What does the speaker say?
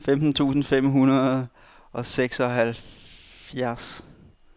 femten tusind fem hundrede og seksoghalvfjerds